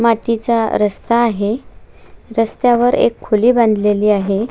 मातीचा रस्ता आहे रस्तावर एक खोली बांधलेली आहे.